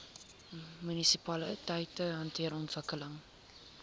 munisipaliteite hanteer ontwikkeling